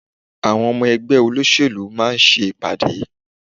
Àwọn ọmọ ẹgbẹ́ olóṣèlú máa ń ṣe ìpàdé.